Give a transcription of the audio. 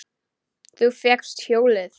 Þú fékkst hjólið!